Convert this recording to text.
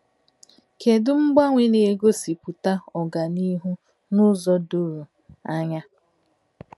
Kedụ mgbanwe na-egosipụta ọganihu n’ụzọ doro anya?